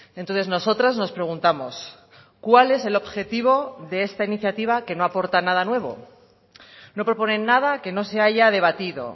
entonces nosotras nos preguntamos cuál es el objetivo de esta iniciativa que no aporta nada nuevo no proponen nada que no se haya debatido